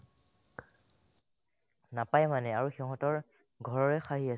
নাপাই মানে আৰু সিহঁতৰ ঘৰৰে খাইহি আছে